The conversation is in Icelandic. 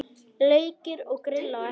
Leikir og grill á eftir.